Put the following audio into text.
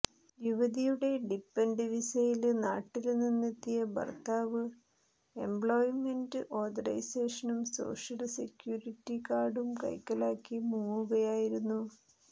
യുവതിയുടെ ഡിപ്പന്ഡന്റ് വിസയില് നാട്ടില് നിന്നെത്തിയ ഭര്ത്താവ് എംപ്ലോയ്മെന്റ് ഓഥറൈസേഷനും സോഷ്യല് സെക്യൂരിറ്റി കാര്ഡും കൈക്കലാക്കി മുങ്ങുകയായിരുന്നു